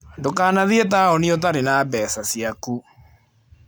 Ndũkanathiĩ taũni ũtarĩ na mbeca ciaku.